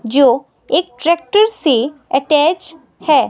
जो एक ट्रैक्टर से अटैच है।